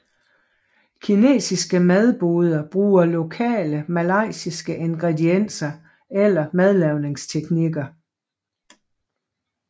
Kinesiske madboder bruger lokale malajiske ingredienser eller madlavningsteknikker